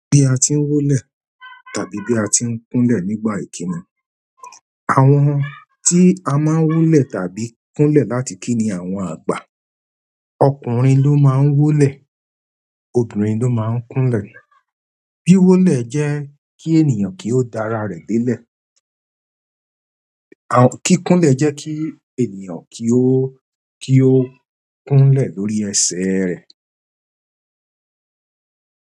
Bí a tí ń wólẹ̀ tàbí bí a tí ń kúnlẹ̀ nígbà ìkíni. Àwọn tí a má n wólẹ̀ tàbí kúnlẹ̀ láti kí ni àwọn àgbà. Ọkùnrin ló máa ń wólẹ̀, obìnrin ló máa ń kúnlẹ̀. Wíwólẹ̀ jẹ́ kí ènìyàn kí ó dá ara rẹ̀ délẹ̀. Kíkúnlẹ̀ jẹ́ kí ènìyàn kí ó, kí ó kúnlẹ̀ lórí ẹsẹ̀ rẹ̀.